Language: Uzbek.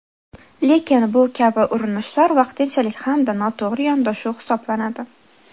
Lekin bu kabi urinishlar vaqtinchalik hamda noto‘g‘ri yondashuv hisoblanadi.